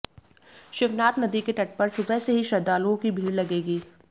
शिवनाथ नदी के तट पर सुबह से ही श्रद्धालुओं की भीड़ लगेगी